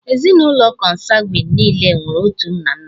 Ezinụlọ Kọnsangwin niile nwere otu nna nna